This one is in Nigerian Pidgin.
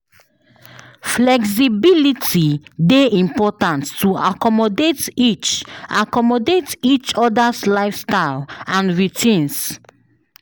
Flexibility dey important to accommodate each accommodate each other’s lifestyle and routines.